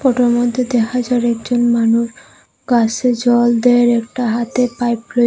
ফোটোর মধ্যে দেখা যার একজন মানুষ গাসে জল দেয় আর একটা হাতে পাইপ রয়ে--